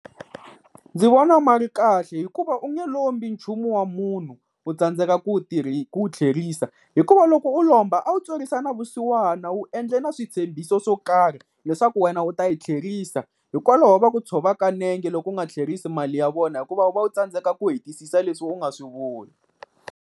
Ndzi vona ma ri kahle hikuva u nge lombi nchumu wa munhu u tsandzeka ku wu ku wu tlherisa. Hikuva loko u lomba a wu twerisa na vusiwana u endle na switshembiso swo karhi leswaku wena u ta yi tlherisa. Hikwalaho va ku tshovaka nenge loko u nga tlherisi mali ya vona hikuva u va u tsandzeka ku hetisisa leswi u nga swi vula.